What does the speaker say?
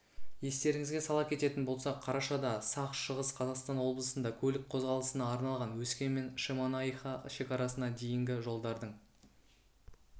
естеріңізге сала кететін болсақ қарашада сағ шығыс қазақстан облысында көлік қозғалысына арналған өскемен-шемонаиха шекарасына дейінгі жолдардың